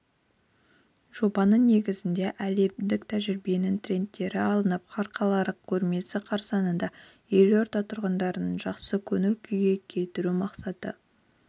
жобаның негізіне әлемдік тәжірибенің трендтері алынып халықаралық көрмесі қарсаңында елорда тұрғындарын жақсы көңіл күйге келтіру мақсаты